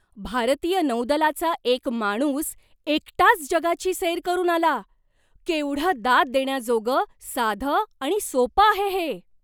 भारतीय नौदलाचा एक माणूस एकटाच जगाची सैर करून आला. केवढं दाद देण्याजोगं, साधं आणि सोपं आहे हे!